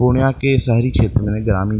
पूर्णियां के शहरी क्षेत्र में ग्रामीण --